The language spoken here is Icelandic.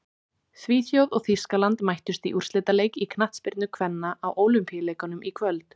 Svíþjóð og Þýskaland mættust í úrslitaleik í knattspyrnu kvenna á Ólympíuleikunum í kvöld.